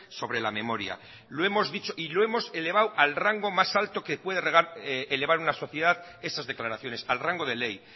sobre la memoria lo hemos dicho y lo hemos elevado al rango más alto que puede elevar una sociedad esas declaraciones al rango de ley